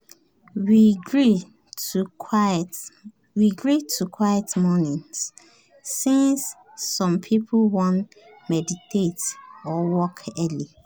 we gree to quiet mornings since some people wan meditate or work early.